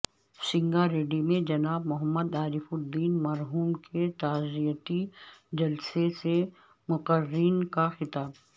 سنگاریڈی میں جناب محمد عارف الدین مرحوم کے تعزیتی جلسہ سے مقررین کا خطاب